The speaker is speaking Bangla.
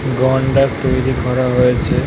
তৈরী করা হয়েছে ।